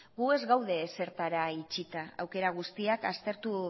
gu ez gaude ezertara itxita aukera guztiak aztertu